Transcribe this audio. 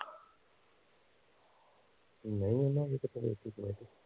ਨਹੀਂ ਉਹਨੇ ਹਜੇ ਕਿੱਥੇ ਦੇਤੀ comety